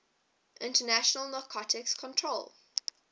international narcotics control